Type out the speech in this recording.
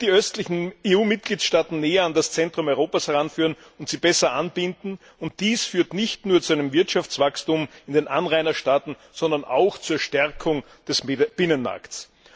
Sie wird die östlichen EU Mitgliedstaaten näher an das Zentrum Europas heranführen und sie besser anbinden, und dies führt nicht nur zu einem Wirtschaftswachstum in den Anrainerstaaten, sondern auch zur Stärkung des Binnenmarkts.